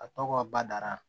A tɔgɔ badara